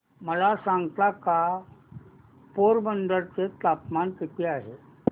मला सांगता का पोरबंदर चे तापमान किती आहे